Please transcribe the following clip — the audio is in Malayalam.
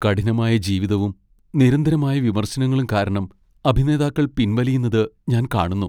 കഠിനമായ ജീവിതവും നിരന്തരമായ വിമർശനങ്ങളും കാരണം അഭിനേതാക്കൾ പിൻവലിയുന്നത് ഞാൻ കാണുന്നു.